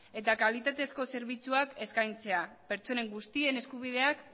eta kalitatezko zerbitzuak eskaintzea pertsonen guztien eskubideak